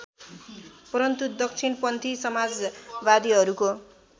परन्तु दक्षिणपन्थी समाजवादीहरूको